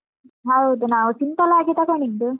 ಹೌದು ನಾವು simple ಆಗಿತಗೊಂಡಿದ್ದು.